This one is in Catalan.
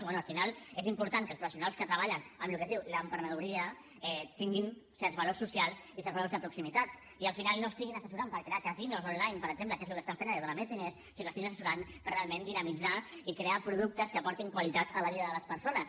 i bé al final és important que els professionals que treballen amb el que es diu l’emprenedoria tinguin certs valors socials i certs valors de proximitat i al final no estiguin assessorant per crear casinos online per exemple que és el que estan fent ara i dona més diners sinó que estiguin assessorant per realment dinamitzar i crear productes que aportin qualitat a la vida de les persones